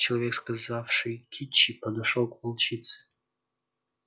человек сказавший кичи подошёл к волчице